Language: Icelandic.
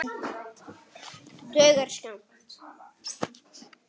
Dugar skammt.